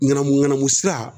Ŋanamu ŋanamu sira